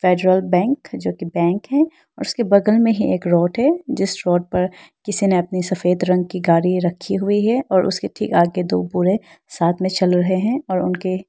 federal Bank जो कि bank है और उसके बगल में ही एक रोड है जिस रोड पर किसी ने अपनी सफेद रंग की गाड़ी रखी हुई है और उसके ठीक आगे दो बूढ़े साथ में चल रहे हैं और उनके--